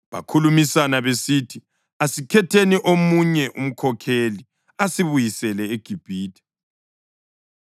Bakhulumisana besithi, “Asikhetheni omunye umkhokheli asibuyisele eGibhithe.”